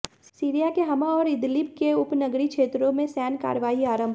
Syria के Hama और Idlib के उपनगरीय क्षेत्रों में सैन्य कार्यवाही आरंभ